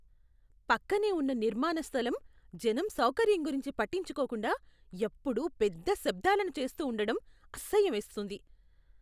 పక్కనే ఉన్న నిర్మాణ స్థలం జనం సౌకర్యం గురించి పట్టించుకోకుండా, ఎప్పుడూ పెద్ద శబ్దాలను చేస్తూ ఉండడం అసహ్యమేస్తోంది.